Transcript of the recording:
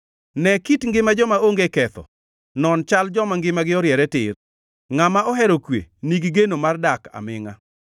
Ne kit ngima joma onge ketho, non chal joma ngimagi oriere tir, ngʼama ohero kwe nigi geno mar dak amingʼa.